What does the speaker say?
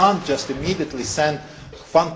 You cannot just immediately send